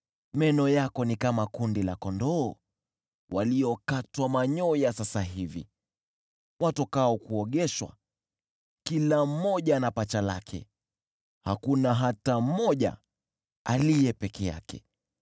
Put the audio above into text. Meno yako ni kama kundi la kondoo waliokatwa manyoya sasa hivi, watokao kuogeshwa. Kila mmoja ana pacha lake, hakuna hata mmoja aliye peke yake.